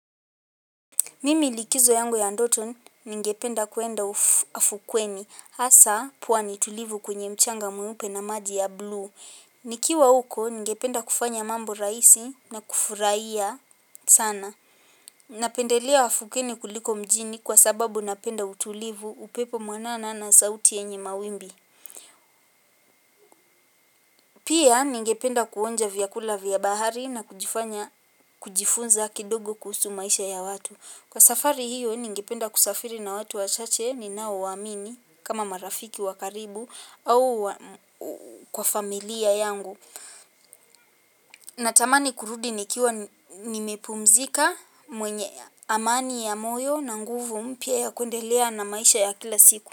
Mimi likizo yangu ya ndoto, ningependa kuenda afukweni. Hasa, pwani tulivu kwenye mchanga mweupe na maji ya blue. Nikiwa huko, ningependa kufanya mambo rahisi na kufurahia sana. Napendelea afukeni kuliko mjini kwa sababu napenda utulivu, upepo mwanana na sauti yenye mawimbi. Pia, ningependa kuonja vyakula vya bahari na kujifanya kujifunza kidogo kuhusu maisha ya watu. Kwa safari hiyo, ningependa kusafiri na watu wachache ninao wa amini kama marafiki wakaribu au kwa familia yangu. Natamani kurudi nikiwa nimepumzika, mwenye amani ya moyo na nguvu mpya ya kuendelea na maisha ya kila siku.